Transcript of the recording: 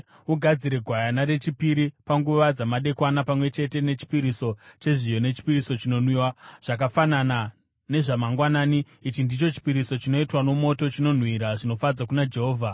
Ugadzire gwayana rechipiri panguva dzamadekwana, pamwe chete nechipiriso chezviyo nechipiriso chinonwiwa, zvakafanana nezvamangwanani. Ichi ndicho chipiriso chinoitwa nomoto, chinonhuhwira zvinofadza kuna Jehovha.